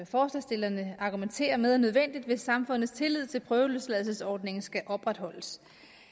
forslagsstillerne argumenterer med er nødvendigt hvis samfundets tillid til prøveløsladelsesordningen skal opretholdes